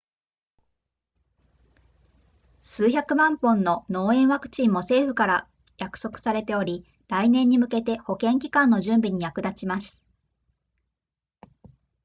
数百万本の脳炎ワクチンも政府から約束されており来年に向けて保健機関の準備に役立ちます